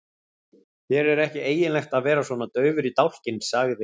Þér er ekki eiginlegt að vera svona daufur í dálkinn, sagði